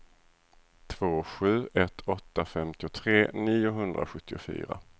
två sju ett åtta femtiotre niohundrasjuttiofyra